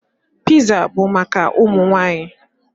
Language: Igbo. Piza bụ maka ụmụ nwaanyị.